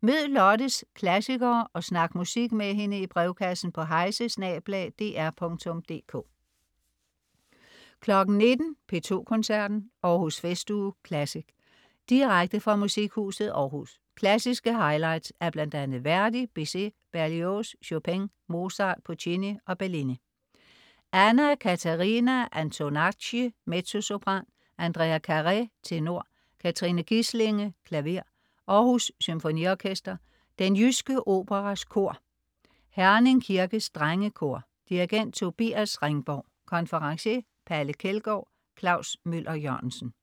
Mød Lottes klassikere og snak musik med hende i brevkassen på heise@dr.dk 19.00 P2 Koncerten. Århus Festuge Classic. Direkte fra Musikhuset Aarhus. Klassiske highlights af bl.a. Verdi, Bizet, Berlioz, Chopin, Mozart, Puccini og Bellini. Anna Catarina Antonacci, mezzosopran. Andrea Caré, tenor. Katrine Gislinge, klaver. Aarhus Symfoniorkester. Den Jyske Operas Kor. Herning Kirkes Drengekor. Dirigent: Tobias Ringborg. Konferencier: Palle Kjeldgaard. Klaus Møller-Jørgensen